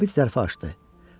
Zabit zərfə açdı.